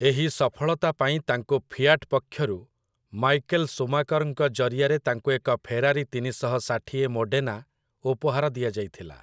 ଏହି ସଫଳତା ପାଇଁ ତାଙ୍କୁ ଫିୟାଟ୍ ପକ୍ଷରୁ ମାଇକେଲ୍ ସୁମାକର୍‌ଙ୍କ ଜରିଆରେ ତାଙ୍କୁ ଏକ ଫେରାରି ତିନିଶହ ଷାଠିଏ ମୋଡେନା ଉପହାର ଦିଆଯାଇଥିଲା ।